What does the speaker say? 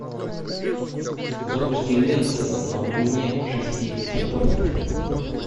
запусти ленту на глубине шести футов